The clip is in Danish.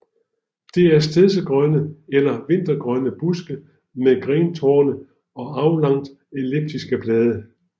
Det er stedsegrønne eller vintergrønne buske med grentorne og aflangt elliptiske blade